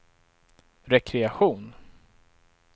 rekreation